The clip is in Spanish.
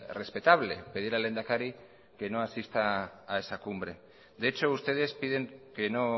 respetable pedir al lehendakari que no asista a esa cumbre de hecho ustedes piden que no